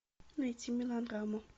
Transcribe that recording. найти мелодраму